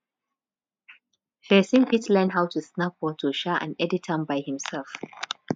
persin fit learn how to snap photo um and edit am by himself